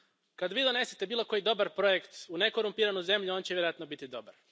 Kad vi donesete bilo koji dobar projekt u nekorumpiranu zemlju, on će vjerojatno biti dobar.